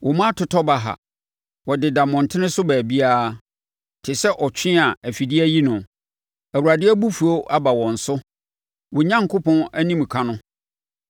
Wo mma atotɔ baha; wɔdeda mmɔntene so baabiara, te sɛ ɔtwe a afidie ayi no. Awurade abufuo aba wɔn so wo Onyankopɔn animka no.